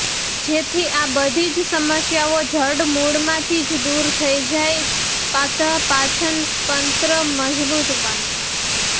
જેથી આ બધી જ સમસ્યાઓ જડમૂળ મા થી દૂર થઈ જાય તથા પાચનતંત્ર મજબૂત બને